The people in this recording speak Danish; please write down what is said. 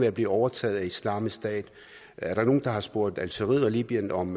at blive overtaget af islamisk stat er der nogen der har spurgt algeriet og libyen om